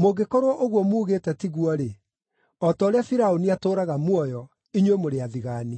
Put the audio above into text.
Mũngĩkorwo ũguo muugĩte tiguo-rĩ, o ta ũrĩa Firaũni atũũraga muoyo, inyuĩ mũrĩ athigaani!”